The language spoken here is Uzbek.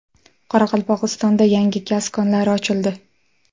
Qoraqalpog‘istonda yangi gaz konlari ochildi .